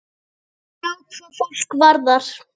Já, hvað fólk varðar.